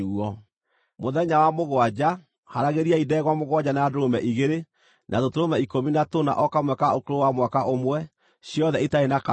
“ ‘Mũthenya wa mũgwanja, haaragĩriai ndegwa mũgwanja, na ndũrũme igĩrĩ, na tũtũrũme ikũmi na tũna o kamwe ka ũkũrũ wa mwaka ũmwe, ciothe itarĩ na kaũũgũ.